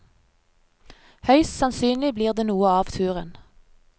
Høyst sannsynlig blir det noe av turen.